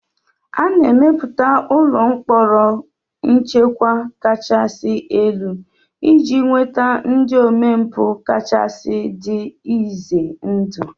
A na-emepụta ụlọ mkpọrọ nchekwa kachasị elu iji nweta ndị omempụ kachasị dị ize ndụ